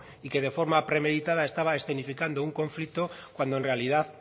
y que de forma premeditada estaba escenificando un conflicto cuando en realidad